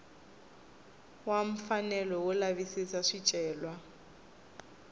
wa mfanelo wo lavisisa swicelwa